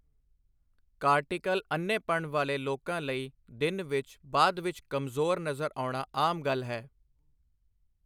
Cortical ਅੰਨ੍ਹੇਪਣ ਵਾਲੇ ਲੋਕਾਂ ਲਈ ਦਿਨ ਵਿੱਚ ਬਾਅਦ ਵਿੱਚ ਕਮਜ਼ੋਰ ਨਜ਼ਰ ਆਉਣਾ ਆਮ ਗੱਲ ਹੈ।